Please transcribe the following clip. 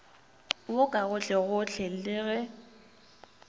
wo ka gohlegohle le ge